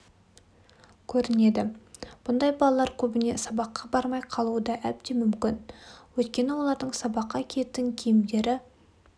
көрінеді бұндай балалар көбіне сабаққа бармай қалуы да әбден мүмкін өйткені олардың сабаққа киетін киімдері